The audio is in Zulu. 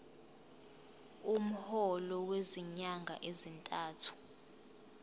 umholo wezinyanga ezintathu